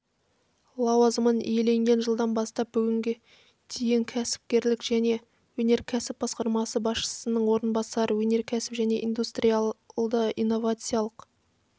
лауазымын иеленген жылдан бастап бүгінге дейін кәсіпкерлік және өнеркәсіп басқармасы басшысының орынбасары өнеркәсіп және индустриалды-инновациялық